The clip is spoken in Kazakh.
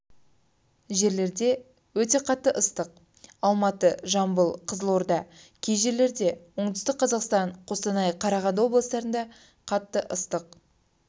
жерлерде өте қатты ыстық алматы жамбыл кызылорда кей жерлерде оңтүстік-қазақстан қостанай қарағанды облыстарында қатты ыстық